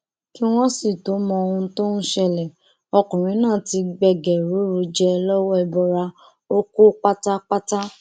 kí wọn sì tóó mọ ohun tó ń ṣẹlẹ ọkùnrin náà ti gbẹgẹrúrú jẹ lọwọ ẹbọra ó kú pátápátá